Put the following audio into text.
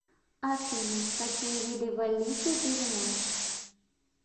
афина какие виды валлийцы ты знаешь